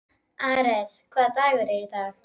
Ares, hvaða dagur er í dag?